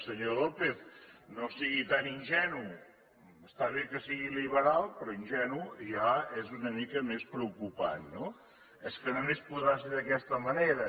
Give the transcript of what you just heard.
senyor lópez no sigui tan ingenu està bé que sigui liberal però ingenu ja és una mica més preocupant no és que només podrà ser d’aquesta manera